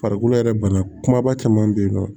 Farikolo yɛrɛ bana kumaba caman bɛ yen nɔ